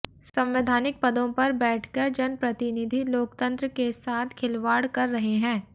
संवैधानिक पदों पर बैठकर जनप्रतिनिधि लोकतंत्र के साथ खिलवाड़ कर रहे हैं